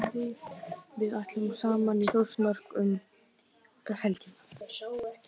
Við ætlum saman í Þórsmörk um helgina.